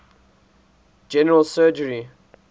general surgery